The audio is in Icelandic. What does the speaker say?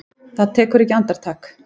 Það tekur ekki andartak.